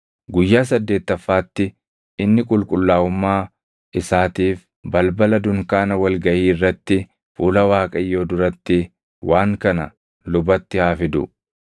“Guyyaa saddeettaffaatti inni qulqullaaʼummaa isaatiif balbala dunkaana wal gaʼii irratti fuula Waaqayyoo duratti waan kana lubatti haa fidu.